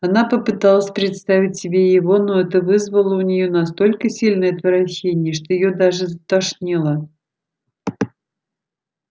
она попыталась представить себе его но это вызвало у неё настолько сильное отвращение что её даже затошнило